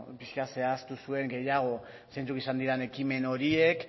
pixkat zehaztu zuen gehiago zeintzuk izan diren ekimen horiek